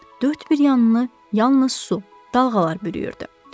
Dörd bir yanını yalnız su, dalğalar bürüyürdü.